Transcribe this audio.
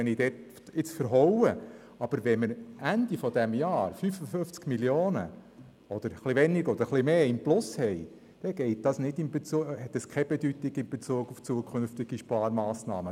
Wenn wir Ende Jahr 55 Mio. Franken, vielleicht etwas weniger oder etwas mehr, im Plus sind, dann hat das keine Bedeutung in Bezug auf zukünftige Sparmassnahmen.